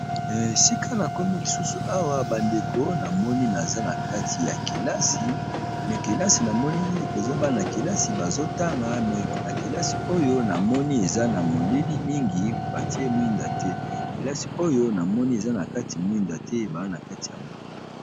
sika na komi lisusu awa bandeko namoni naza na kati ya kelasi me kelasi namoni ekozaba na kelasi bazotanga na kelasi oyo namoni eza na molili mingi batie mwinda te kelasi oyo namoni eza na kati mwinda te baza na kati ya molili